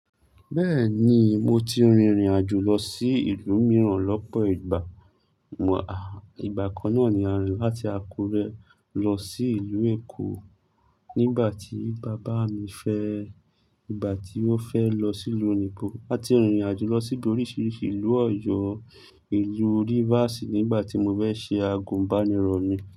Bẹ́ẹ̀ni, mo ti rìnrìn àjò lọ sí ìlú mìíràn lọ́pọ̀ ìgbà. À, ìgbà kan náà ni a rin láti Àkúrẹ́ lọ sí ìlú Èkó nígbà tí bàbá mi fẹ́, ìgbà tí ó fẹ́ lọ sí ìlú òyinbo. Áti rìnrìn àjò lọ síbi oríṣiríṣi ìlú Ọ̀yọ́, ìlú rivers nígbà tí mo fẹ́ ṣe agun bá nírọ̀ mi.